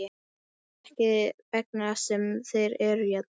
Er það ekki þess vegna sem þeir eru hérna?